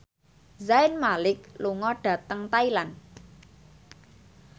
Zayn Malik lunga dhateng Thailand